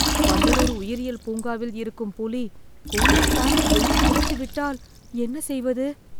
வண்டலூர் உயிரியல் பூங்காவில் இருக்கும் புலி கூண்டைத் தாண்டி வெளியே குதித்துவிட்டால் என்ன செய்வது